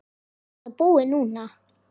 Er þetta búið núna?